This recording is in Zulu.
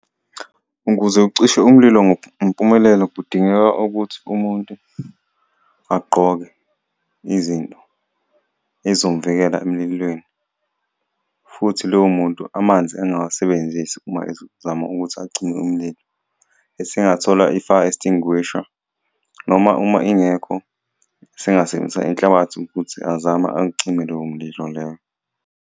Ukuze ucishe umlilo ngempumelelo kudingeka ukuthi umuntu agqoke izinto ey'zomuvikela emlilweni, futhi loyo muntu amanzi angawasebenzisi uma ezama ukuthi acime umlilo. Esingathola i-fire extinguisher noma uma ingekho usengasebenzisa inhlabathi ukuthi azame acime lowo mlilo leyo.